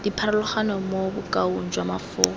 dipharologano mo bokaong jwa mafoko